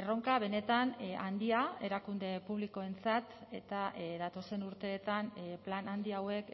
erronka benetan handia erakunde publikoentzat eta datozen urteetan plan handi hauek